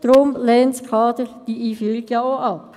Deshalb lehnt auch das Kader dessen Einführung ab.